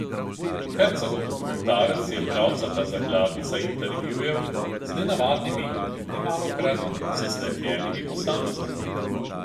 Herzogov dokumentarec je pravcata zakladnica intervjujev z nenavadnimi in nemalokrat zaslepljenimi posamezniki.